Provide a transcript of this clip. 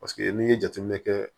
Paseke n'i ye jateminɛ kɛ